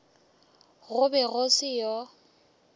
go be go se yo